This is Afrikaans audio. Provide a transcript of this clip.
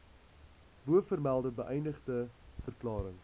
bovermelde beëdigde verklarings